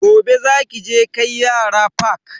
Gobe za ki je kai yara fak.